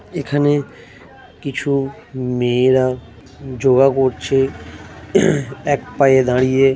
এখানে কিছু মেয়েরা যোগা করছে এক পায়ে দাঁড়িয়ে।